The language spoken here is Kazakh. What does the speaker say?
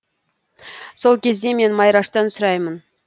сол кезде мен майраштан сұраймын